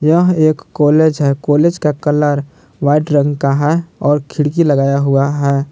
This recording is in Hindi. यह एक कॉलेज है कॉलेज का कलर वाइट रंग का है और खिड़की लगाया हुआ है।